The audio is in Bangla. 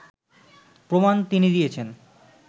প্রমাণ তিনি দিয়েছেন